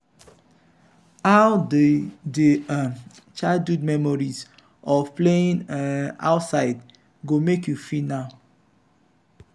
how di di um childhood memories of playing um outside go make you feel now?